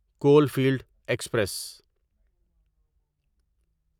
Caulfield express